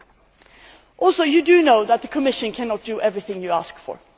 area. I think you know that the Commission cannot do everything you ask